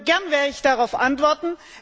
Gern werde ich darauf antworten.